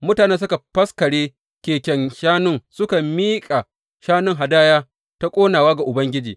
Mutanen suka faskare keken shanun suka miƙa shanun hadaya ta ƙonawa ga Ubangiji.